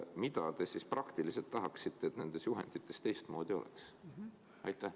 Mida te siis praktiliselt tahaksite, et nendes juhendites teistmoodi oleks?